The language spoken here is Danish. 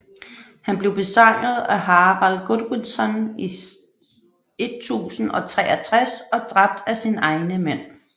Han blev besejret af Harold Godwinson i 1063 og dræbt af sine egne mænd